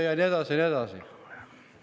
Ja nii edasi ja nii edasi.